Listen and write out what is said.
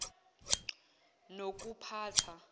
nokuphatha